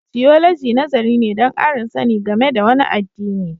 Tiyoloji nazari ne don ƙarin sani game da wani addini.